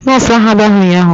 nọọsụ ahụ abiaghi ụnyahụ